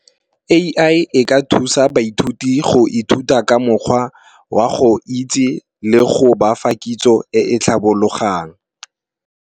A_I e ka thusa baithuti go ithuta ka mokgwa wa go itse le go bafa kitso e e tlhabologang.